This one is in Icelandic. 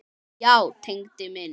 Já, Tengdi minn.